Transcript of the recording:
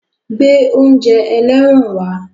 Gbé oúnjẹ ẹlẹ́wọ̀n wá!